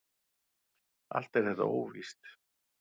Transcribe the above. Allt er þetta óvíst.